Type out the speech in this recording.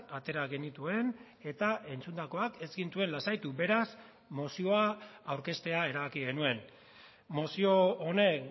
atera genituen eta entzundakoak ez gintuen lasaitu beraz mozioa aurkeztea erabaki genuen mozio honen